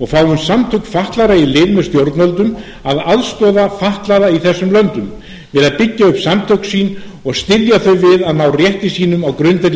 og fáum samtök fatlaðra í lið með stjórnvöldum að aðstoða fatlaða í þessum löndum við að byggja upp samtök sín og styðja þau við að ná rétti sínum á grundvelli